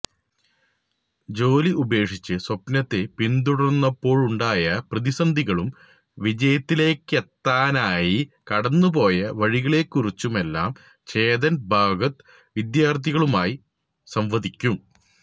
ജോലി ഉപേക്ഷിച്ച് സ്വപ്നത്തെ പിന്തുടർന്നപ്പോഴുണ്ടായ പ്രതിസന്ധികളും വിജയത്തിലേക്കെത്താനായി കടന്നുപോയ വഴികളെക്കുറിച്ചുമെല്ലാം ചേതൻ ഭഗത് വിദ്യാർത്ഥികളുമായി സംവദിക്കും